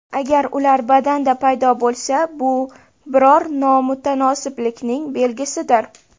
Agar ular badanda paydo bo‘lsa, bu biror nomutanosiblikning belgisidir.